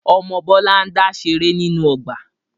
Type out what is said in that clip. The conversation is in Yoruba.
Ọmọ Bọlá n dá ṣeré nínú ọgbà